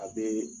A bee